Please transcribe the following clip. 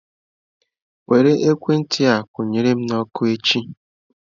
Were ekwentị a kwụ nyere m na ọkụ echi.